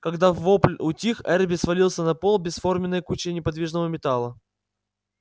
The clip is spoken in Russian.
когда вопль утих эрби свалился на пол бесформенной кучей неподвижного металла